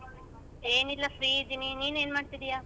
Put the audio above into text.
ಏನ್ ಇಲ್ಲ free ಇದೀನಿ ನಿನ್ ಏನ್ ಮಾಡ್ತಿದೀಯಾ?